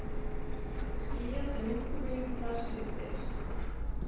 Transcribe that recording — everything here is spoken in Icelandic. Skýjað en úrkomulítið þar síðdegis